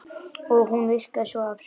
Og hún virkaði svo absúrd.